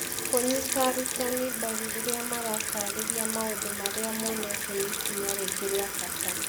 Kũnyita arutani mbaru rĩrĩa marataarĩria maũndũ marĩa monete nĩ ikinya rĩngĩ rĩa bata.